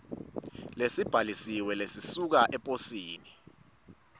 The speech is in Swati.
lesibhalisiwe lesisuka eposini